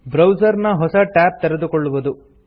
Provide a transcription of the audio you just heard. browser ನ ಹೊಸ tab ತೆರೆದುಕೊಳ್ಳುವುದು